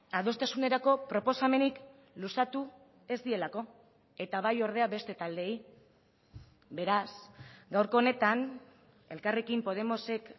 adostasunerako proposamenik luzatu ez dielako eta bai ordea beste taldeei beraz gaurko honetan elkarrekin podemosek